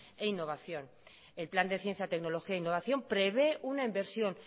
e innovación en plan de ciencia tecnología e innovación prevé una inversión